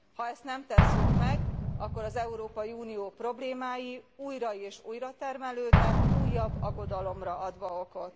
Ha ezt nem tesszük meg, akkor az Európai Unió problémái újra és újratermelődnek, újabb aggodalomra adva okot.